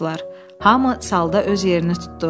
Hamı salda öz yerini tutdu.